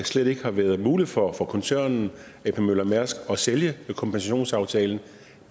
slet ikke har været muligt for koncernen ap møller mærsk at sælge kompensationsaftalen